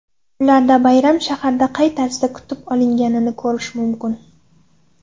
Ularda bayram shaharda qay tarzda kutib olinganini ko‘rish mumkin.